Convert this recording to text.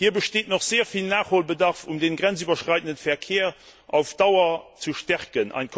Hier besteht noch sehr viel Nachholbedarf, um den grenzüberschreitenden Verkehr auf Dauer zu stärken.